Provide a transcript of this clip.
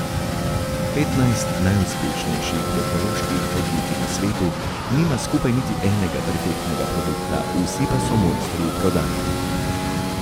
Petnajst najuspešnejših tehnoloških podjetij na svetu nima skupaj niti enega perfektnega produkta, vsi pa so mojstri v prodaji.